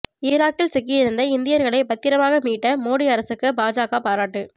ஈராக்கில் சிக்கியிருந்த இந்தியர்களை பத்திரமாக மீட்ட மோடி அரசுக்கு பாஜக பாராட்டு